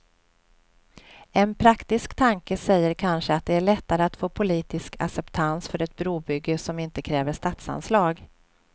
En praktisk tanke säger kanske att det är lättare att få politisk acceptans för ett brobygge som inte kräver statsanslag.